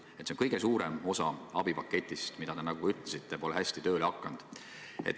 See on kõige suurem osa abipaketist, mis, nagu te ütlesite, pole hästi tööle hakanud.